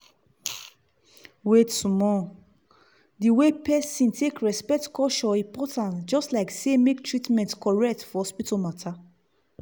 wait small — the way person take respect culture important just like say make treatment correct for hospital matter.